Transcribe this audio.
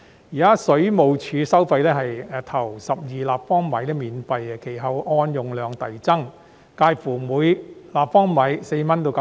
現時水務署收費為首12立方米免費，其後按用量遞增，每立方米介乎約4元至9元。